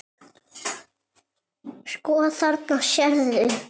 Sko, þarna sérðu.